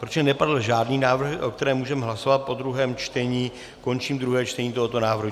Protože nepadl žádný návrh, o kterém můžeme hlasovat po druhém čtení, končím druhé čtení tohoto návrhu.